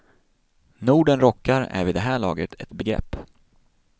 Norden rockar är vid det här laget ett begrepp.